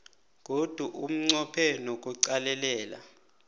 godu unqophe nokuqalelela